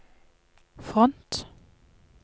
front